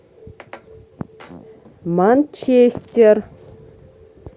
манчестер